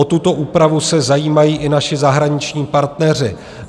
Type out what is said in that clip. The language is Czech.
O tuto úpravu se zajímají i naši zahraniční partneři.